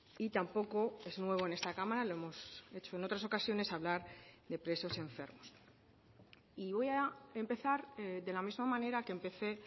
y tampoco es nuevo en esta cámara lo hemos hecho en otras ocasiones hablar de presos enfermos y voy a empezar de la misma manera que empecé